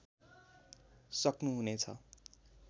सक्नु हुने छ